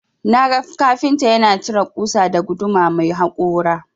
Naga kafinta yana cire ƙusa da guduma mai hakora.